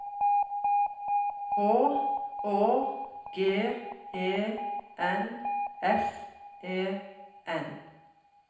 H Å G E N S E N